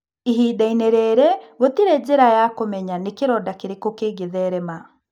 Ihinda-inĩ rĩrĩ, gũtirĩ njĩra ya kũmenya nĩ kĩronda kĩrĩkũ kĩngĩtherema.